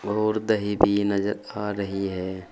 और दही भी नजर आ रही है।